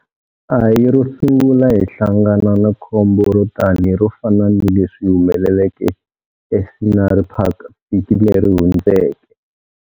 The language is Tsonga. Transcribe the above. A hi ro sungula hi hlangana ni khombo ro tani ro fana na leswi humeleke eScenery Park vhiki leri hundzeke.